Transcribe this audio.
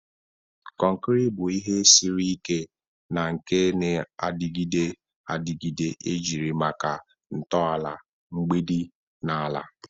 Konkiri bu ihe siri ike na nke na-adịgide adịgide ejiri maka ntọala, mgbidi na ala.